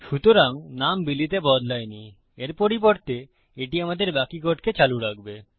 সুতরাং নাম বিলি তে বদলায় নি এর পরিবর্তে এটি আমাদের বাকি কোডকে চালু রাখবে